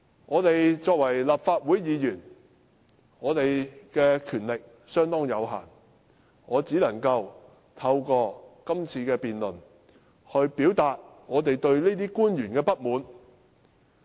我們作為立法會議員，權力相當有限，我只可以透過今次辯論，表達我們對於這些官員的不滿。